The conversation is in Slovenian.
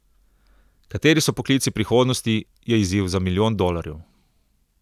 Kateri so poklici prihodnosti, je izziv za milijon dolarjev.